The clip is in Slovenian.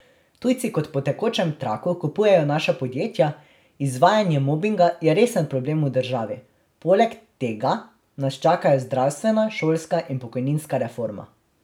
Tujci kot po tekočem traku kupujejo naša podjetja, izvajanje mobinga je resen problem v državi, poleg tega nas čakajo zdravstvena, šolska in pokojninska reforma.